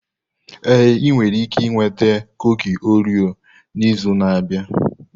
Ee, ị nwere ike ịnweta kuki Orio n'izu na-abịa.